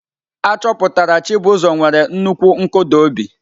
Achọpụtara Chibuzo nwere nnukwu nkụda obi.